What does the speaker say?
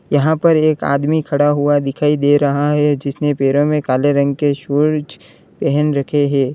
यहां पर एक आदमी खड़ा हुआ दिखाई दे रहा है जिसने पैरों में काले रंग के शूज पहन रखे हैं।